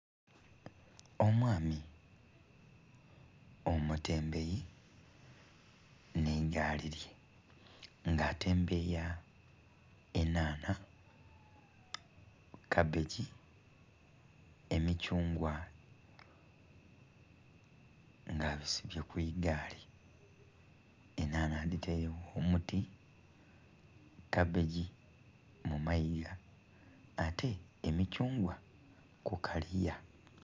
Omwami omutembeyi ne gaali ye nga atembeya enhanha, kabbegi, emikyungwa nga abisibye kwigaali enhanha aditaire kumuti, kabbegi mu maigha ate emikyungwa kukaliya